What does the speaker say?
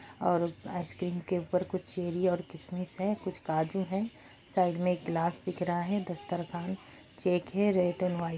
और आइसक्रीम के ऊपर कुछ चेरी और किशमिश है कुछ काजू है साइड में एक गिलास दिख रहा है चेक है रेड और वाइट --